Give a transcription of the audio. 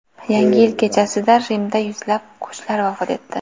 Yangi yil kechasida Rimda yuzlab qushlar vafot etdi.